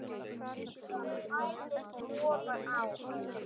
Það bætist ofan á.